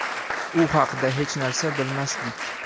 U haqda hech narsa bilmasdik.